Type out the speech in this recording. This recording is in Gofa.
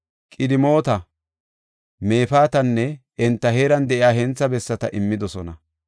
Qidimoota, Mefaatanne enta heeran de7iya hentha bessata immidosona.